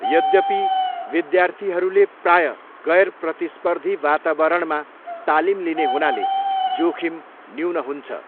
यद्यपि, विद्यार्थीहरूले प्रायः गैर प्रतिस्पर्धी वातावरणमा तालिम लिने हुनाले, जोखिम न्यून हुन्छ।